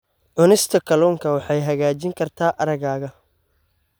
Cunista kalluunka waxay hagaajin kartaa aragga.